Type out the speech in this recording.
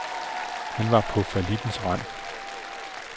Han var på fallittens rand.